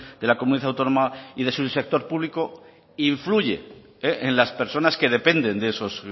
de la comunidad autónoma y de su sector público influye en las personas que dependen de esos